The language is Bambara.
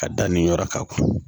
Ka da nin yɔrɔ kan